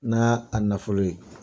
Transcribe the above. N'a a nafolo ye.